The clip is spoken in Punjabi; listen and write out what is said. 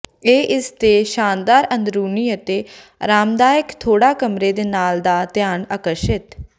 ਇਹ ਇਸ ਦੇ ਸ਼ਾਨਦਾਰ ਅੰਦਰੂਨੀ ਅਤੇ ਆਰਾਮਦਾਇਕ ਥੋੜਾ ਕਮਰੇ ਦੇ ਨਾਲ ਦਾ ਧਿਆਨ ਆਕਰਸ਼ਿਤ